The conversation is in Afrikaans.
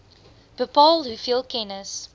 bepaal hoeveel kennis